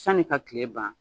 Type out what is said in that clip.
Sani ka tile ban